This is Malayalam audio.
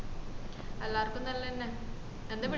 എല്ലാർക്കും നല്ലന്നെ എന്താ വിളിച്ചേ